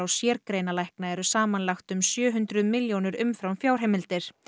sérgreinalækna eru samanlagt um sjö hundruð milljónir umfram fjárheimildir